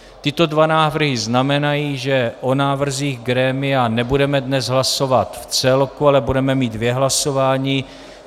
Tyto dva návrhy znamenají, že o návrzích grémia nebudeme dnes hlasovat v celku, ale budeme mít dvě hlasování.